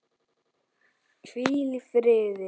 Hvíl í fríði.